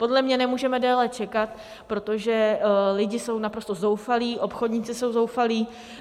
Podle mě nemůžeme déle čekat, protože lidi jsou naprosto zoufalí, obchodníci jsou zoufalí.